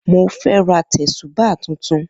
Mo fẹ́ ra tẹ̀sùbáà tuntun.